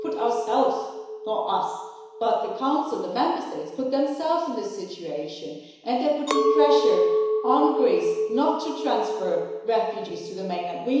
But we put ourselves or not us, but the Council and the Member States put themselves in this situation and they are putting pressure on Greece not to transfer refugees to the mainland.